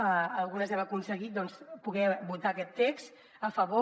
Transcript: en algunes hem aconseguit doncs poder votar aquest text a favor